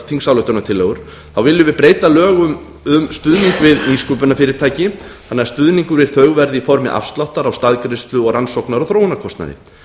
þingsályktunartillögu þá viljum við breyta lögum um stuðning við nýsköpunarfyrirtæki þannig að stuðningur við þau verði í formi afsláttar á staðgreiðslu og rannsóknar og þróunarkostnaði